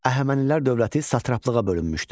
Əhəmənilər dövləti satraplığa bölünmüşdü.